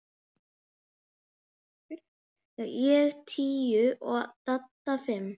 Ég tíu og Dadda fimm.